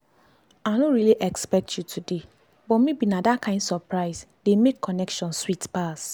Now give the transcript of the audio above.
i no really expect you today but maybe na that kain surprise dey make connection sweet pass.